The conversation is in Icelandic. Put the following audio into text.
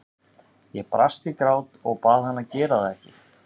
Ég brast í grát og bað hann að gera það ekki.